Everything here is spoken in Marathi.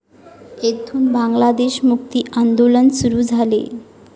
येथून बांगलादेश मुक्ति आंदोलन सुरू झाले.